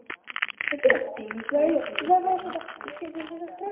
Kristin, hvernig kemst ég þangað?